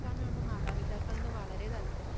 നടക്കാനാണ് മാതാപിതാക്കൾക്ക് വളരെ താല്പര്യം.